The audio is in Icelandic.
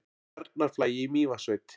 Bjarnarflagi í Mývatnssveit.